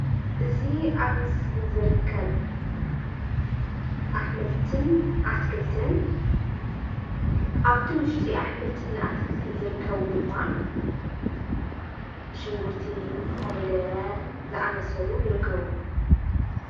እዚ ኣብ ምስሊ ዝርከብ ኣሕምልትን ኣትክልትን አብቲ ውሽጢ ኣሕምልትን ኣትክልትን ዝልከቡ ድማ ሽጉርቲ፣ ኮሚደረ ዝኣምሳሰሉ ይርከቡ፡፡